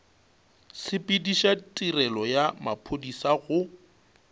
sepediša tirelo ya maphodisa go